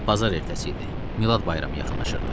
Bazar ertəsi idi, Milad bayramı yaxınlaşırdı.